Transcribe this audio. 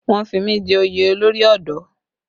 Wọ́n fi mí jẹ oyè olórí ọ̀dọ́